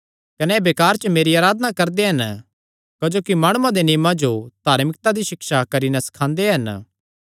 कने एह़ बेकार च मेरी अराधना करदे हन क्जोकि माणुआं दे नियमां जो धार्मिकता दी सिक्षा करी नैं सखांदे हन